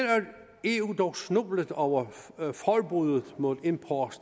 eu dog snublet over forbuddet mod import